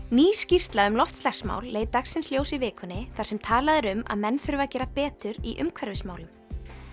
ný skýrsla um loftslagsmál leit dagsins ljós í vikunni þar sem talað er um að menn þurfi að gera betur í umhverfismálum